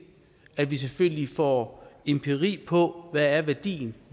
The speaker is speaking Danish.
at vi selvfølgelig får empiri på hvad værdien